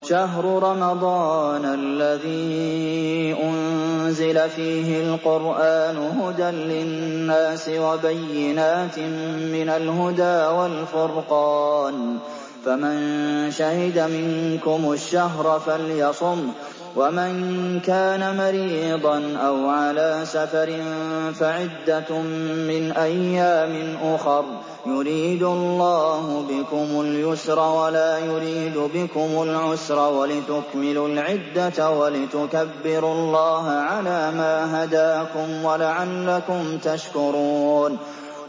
شَهْرُ رَمَضَانَ الَّذِي أُنزِلَ فِيهِ الْقُرْآنُ هُدًى لِّلنَّاسِ وَبَيِّنَاتٍ مِّنَ الْهُدَىٰ وَالْفُرْقَانِ ۚ فَمَن شَهِدَ مِنكُمُ الشَّهْرَ فَلْيَصُمْهُ ۖ وَمَن كَانَ مَرِيضًا أَوْ عَلَىٰ سَفَرٍ فَعِدَّةٌ مِّنْ أَيَّامٍ أُخَرَ ۗ يُرِيدُ اللَّهُ بِكُمُ الْيُسْرَ وَلَا يُرِيدُ بِكُمُ الْعُسْرَ وَلِتُكْمِلُوا الْعِدَّةَ وَلِتُكَبِّرُوا اللَّهَ عَلَىٰ مَا هَدَاكُمْ وَلَعَلَّكُمْ تَشْكُرُونَ